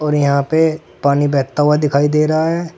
यहां पे पानी बहता हुआ दिखाई दे रहा है।